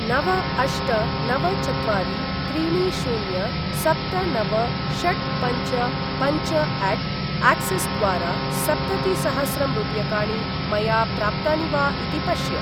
नव अष्ट नव चत्वारि त्रीणि शून्य सप्त नव षट् पञ्च पञ्चअट अक्सिस् द्वारा सप्ततिसहस्रं रूप्यकाणि मया प्राप्तानि वा इति पश्य।